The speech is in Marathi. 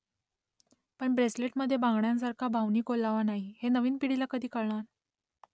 पण ब्रेसलेटमध्ये बांगड्यांसारखा भावनिक ओलावा नाही हे नवीन पिढीला कधी कळणार ?